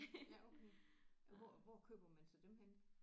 Ja okay hvor hvor køber man så dem henne?